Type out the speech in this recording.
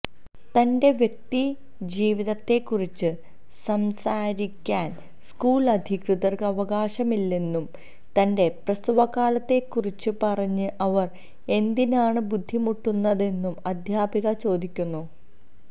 തന്റെ വ്യക്തി ജീവിതത്തെക്കുറിച്ച് സംസാരിക്കാന് സ്കൂള് അധികൃതര്ക്ക് അവകാശമില്ലെന്നും തന്റെ പ്രസവകാലത്തെക്കുറിച്ച് പറഞ്ഞ് അവര് എന്തിനാണ് ബുദ്ധിമുട്ടുന്നതെന്നും അധ്യാപിക ചോദിക്കുന്നു